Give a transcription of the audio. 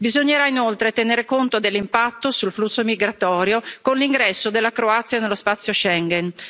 Bisognerà inoltre tenere conto dell'impatto sul flusso migratorio dell'ingresso della Croazia nello spazio Schengen.